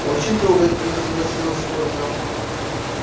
очень трогательно согласилась ольга